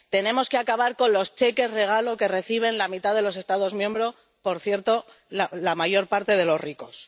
tenemos que acabar con los cheques regalo que reciben la mitad de los Estados miembros —por cierto, la mayor parte, de los ricos—.